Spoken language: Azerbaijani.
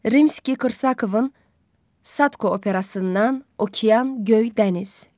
Rimski-Korsakovun Sadko operasından Okean göy dəniz.